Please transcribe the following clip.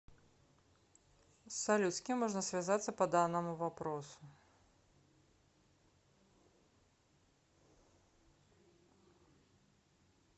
салют с кем можно связаться по данному вопросу